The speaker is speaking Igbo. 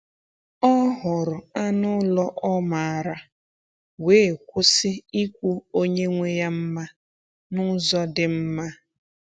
Ọ hụrụ anụ ụlọ ọ maara, wee kwụsị ikwu onye nwe ya mma n’ụzọ dị mma.